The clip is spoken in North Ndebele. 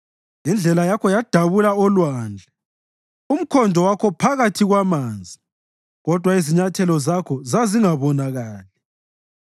Indlela yakho yadabula olwandle, umkhondo wakho phakathi kwamanzi, kodwa izinyathelo zakho zazingabonakali.